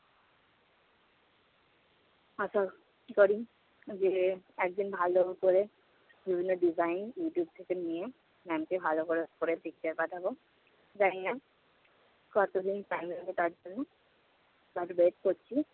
আশা করি যে একদিন ভালো করে বিভিন্ন design YouTube থেকে নিয়ে ma'am কে ভাল করে করে picture পাঠাব। জানি না কতদিন time লাগবে তার জন্য। তবে best করছি।